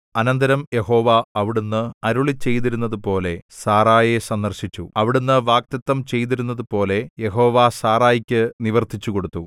അനന്തരം യഹോവ അവിടുന്ന് അരുളിച്ചെയ്തിരുന്നതുപോലെ സാറായെ സന്ദർശിച്ചു അവിടുന്ന് വാഗ്ദത്തം ചെയ്തിരുന്നതുപോലെ യഹോവ സാറായ്ക്ക് നിവർത്തിച്ചുകൊടുത്തു